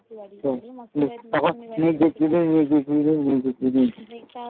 তখন নিজের জিনিস নিজের জিনিস নিজের জিনিস